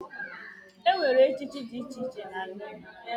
Enwere echichi dị iche iche na-ala Igbo.